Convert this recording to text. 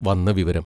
വന്ന വിവരം.